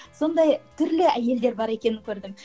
сондай түрлі әйелдер бар екенін көрдім